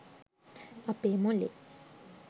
අපේ මොලේ